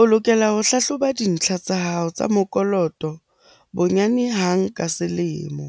O lokela ho hlahloba dintlha tsa hao tsa mokoloto bonyane hang ka selemo.